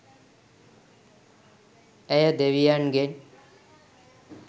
ඇය දෙවියන් ගෙන්